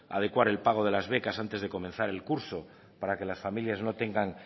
adecuar el pago de las becas antes de comenzar el curso para que las familias no tengan